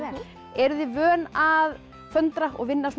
eruð þið vön að föndra og vinna